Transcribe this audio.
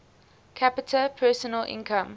capita personal income